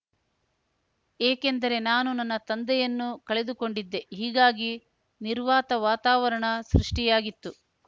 ಏಕೆಂದರೆ ನಾನು ನನ್ನ ತಂದೆಯನ್ನು ಕಳೆದುಕೊಂಡಿದ್ದೆ ಹೀಗಾಗಿ ನಿರ್ವಾತ ವಾತಾವರಣ ಸೃಷ್ಟಿಯಾಗಿತ್ತು